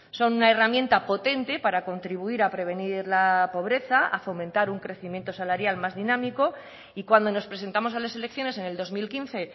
son una herramienta potente para contribuir a prevenir la pobreza a fomentar un crecimiento salarial más dinámico y cuando nos presentamos a las elecciones en el dos mil quince